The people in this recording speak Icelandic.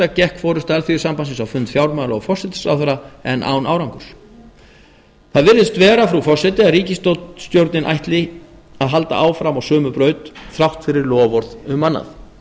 gekk forusta alþýðusambandsins á fund fjármála og forsætisráðherra en án árangurs það virðist vera frú forseti að ríkisstjórnin ætli að halda áfram á sömu braut þrátt fyrir loforð um annað